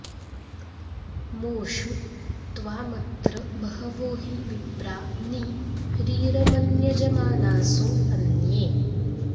मो षु त्वामत्र बहवो हि विप्रा नि रीरमन्यजमानासो अन्ये